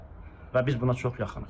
Və biz buna çox yaxınıq.